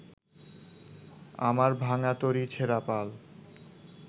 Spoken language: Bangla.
আমার ভাঙ্গা তরী ছেড়া পাল